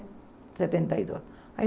Setenta e dois aí